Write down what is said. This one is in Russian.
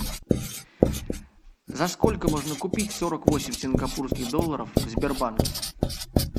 за сколько можно купить сорок восемь сингапурских долларов в сбербанке